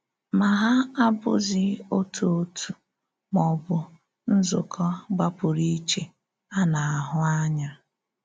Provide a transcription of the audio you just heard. Ma hà abụ́zị òtù òtù, mà ọ bụ nzúkọ̀ gbàpụ̀rù íché a na-ahụ̄ ànyà.